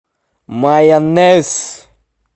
майонез